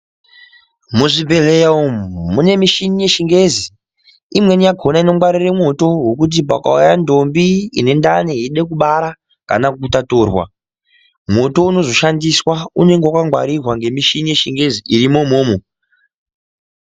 Muzvibhedhleya umu mune mishini yechingezi imweni yakhona inongwarire mwoto wokuti pakauya ndombi ine ndani yeide kubara kana kutaturwa mwoto unozoshandiswa unenge wakangwarirwa ngemushini yeshingezi irimo umomo.